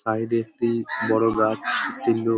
side -এ একটি বড় গাছ একটি লোক --